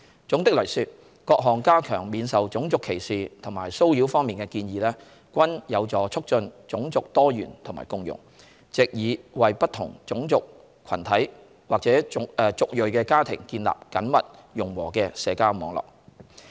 總的來說，各項加強免受種族歧視和騷擾方面的建議均有助促進種族多元和共融，藉以為不同種族群體或族裔的家庭建立緊密融和的社交網絡。